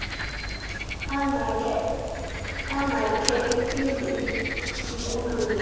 angeke iphinde ikulungele